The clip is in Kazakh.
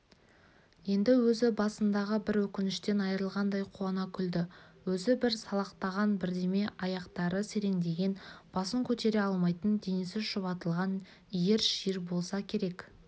енді өз басындағы бір өкініштен арылғандай қуана күлді өзі бір салақтаған бірдеме аяқтары сереңдеген басын көтере алмайтын денесі шұбатылған иір-шиыр болса керек